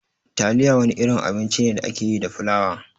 Taliya wani irin abinci ne da ake yi da flawa.